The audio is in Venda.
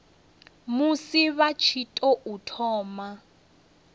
musi vha tshi tou thoma